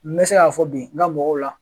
N bɛ se y'a fɔ bi n ka mɔgɔw la.